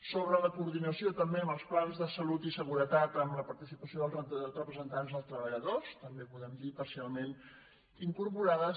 sobre la coordinació també amb els plans de salut i seguretat amb la participació dels representants dels treballadors també podem dir que parcialment incorporades